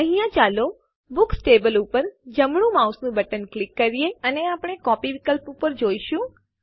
અહીંયા ચાલો books table ઉપર જમણું માઉસ બટન ક્લિક કરીએ અને આપણે કોપી વિકલ્પ જોઈશું